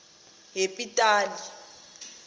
yepitali